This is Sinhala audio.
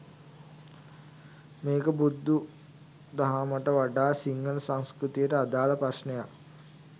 මේක බුදු දහමට වඩා සිංහල සංස්කෘතියට අදාළ ප්‍රශ්නයක්.